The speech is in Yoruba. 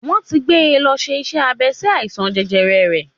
Wọ́n ti gbé e lọ ṣe iṣẹ́ abẹ sí àìsàn jẹjẹrẹ rẹ̀